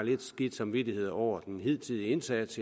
lidt skidt samvittighed over den hidtidige indsats